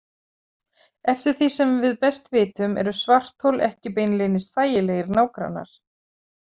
Eftir því sem við best vitum eru svarthol ekki beinlínis þægilegir nágrannar.